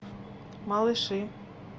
малыши